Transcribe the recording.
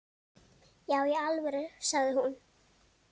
Já í alvöru, sagði hún.